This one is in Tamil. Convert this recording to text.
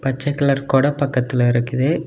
பச்ச கலர் கொட பக்கத்துல இருக்குது.